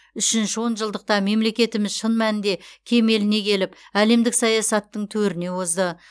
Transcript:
үшінші он жылдықта мемлекетіміз шын мәнінде кемеліне келіп әлемдік саясаттың төріне озды